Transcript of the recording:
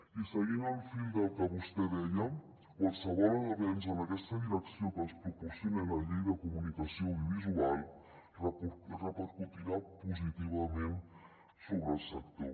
i seguint el fil del que vostè deia qualsevol avenç en aquesta direcció que ens proporcioni la llei de comunicació audiovisual repercutirà positivament sobre el sector